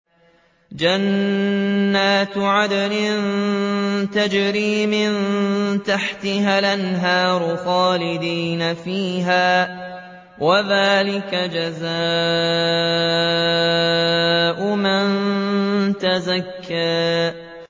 جَنَّاتُ عَدْنٍ تَجْرِي مِن تَحْتِهَا الْأَنْهَارُ خَالِدِينَ فِيهَا ۚ وَذَٰلِكَ جَزَاءُ مَن تَزَكَّىٰ